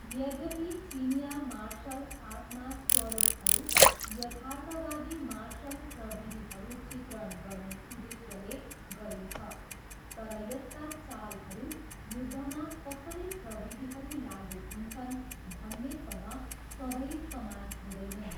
यद्यपि चिनियाँ मार्सल आर्टमा स्वरूपहरू यथार्थवादी मार्सल प्रविधिहरू चित्रण गर्ने उद्देश्यले गरिन्छ, तर यसका चालहरू युद्धमा कसरी प्रविधिहरू लागु हुन्छन् भन्नेसँग सधैँ समान हुँदैनन्।